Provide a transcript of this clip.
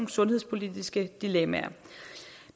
sundhedspolitiske dilemmaer